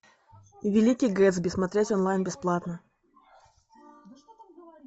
великий гэтсби смотреть онлайн бесплатно